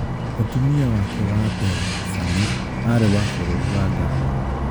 Mũtumia wake wa mbere, Sami, aarĩ wa bũrũri wa Ghana.